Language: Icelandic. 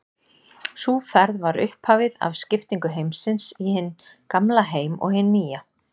Sú ferð var upphafið af skiptingu heimsins í hinn gamla heim og hinn nýja.